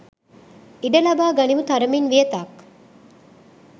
ඉඩ ලබා ගනිමු තරමින් වියතක්.